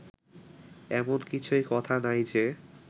এমন কিছুই কথা নাই যে